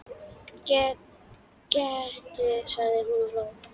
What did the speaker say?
Gettu sagði hún og hló.